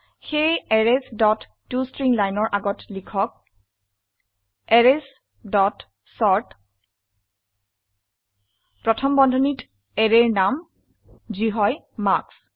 সেয়ে arrays dot to string লাইনৰ আগত লিখক এৰেইছ ডট চৰ্ট প্ৰথম বন্ধনীত অ্যাৰেৰ নাম যি হয় মাৰ্কছ